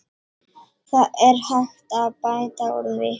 Það er hægt að bæta úr því.